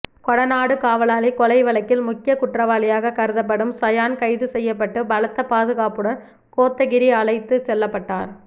கொடநாடு காவலாளி கொலை வழக்கில் முக்கிய குற்றவாளியாக கருதப்படும் சயான் கைது செய்யப்பட்டு பலத்த பாதுகாப்புடன் கோத்தகிரி அழைத்து செல்லப்பட்டார்